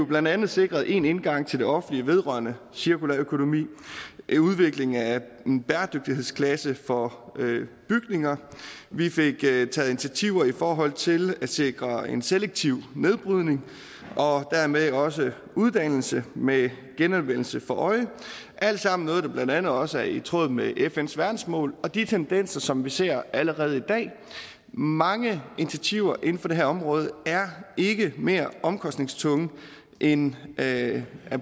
blandt andet sikrede én indgang til det offentlige vedrørende cirkulær økonomi udvikling af en bæredygtighedsklasse for bygninger vi fik taget initiativer i forhold til at sikre en selektiv nedbrydning og dermed også uddannelse med genanvendelse for øje alt sammen noget der blandt andet også er i tråd med fns verdensmål og de tendenser som vi ser allerede i dag mange initiativer inden for det her område er ikke mere omkostningstunge end at